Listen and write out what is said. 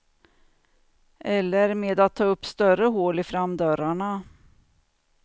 Eller med att ta upp större hål i framdörrarna.